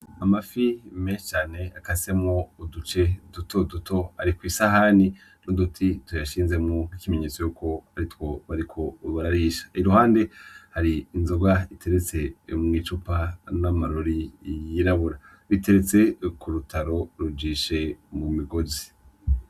Amafi meshi cane akasemwo uduce dutoduto ari kw'isahani n'uduti tuyashinzemwo nkiki menyetso cuko aritwo bariko bararisha, iruhande hari inzoga iteretse mw'icupa n'amarori yirabura, biteretse ku rutaro rujishe mu migozi.